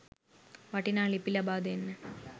වටිනා ලිපි ලබාදෙන්න